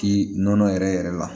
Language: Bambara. K'i nɔnɔ yɛrɛ yɛrɛ la